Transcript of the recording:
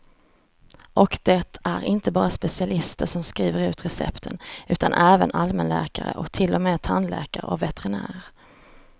Och det är inte bara specialister som skrivit ut recepten, utan även allmänläkare och till och med tandläkare och veterinärer.